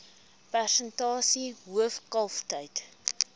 persentasie hoof kalftyd